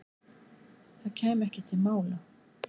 Það kæmi ekki til mála.